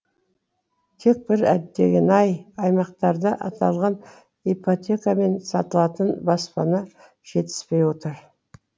тек бір әттеген айы аймақтарда аталған ипотекамен сатылатын баспана жетіспей отыр